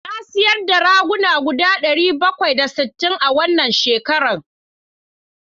Na sayar da ragunan guda ɗari bakwai da sittin a wannan shekaran.